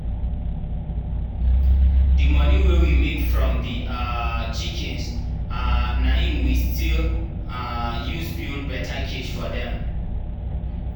the moni wey we make from the um chickens um na him we still um use build better cage for them.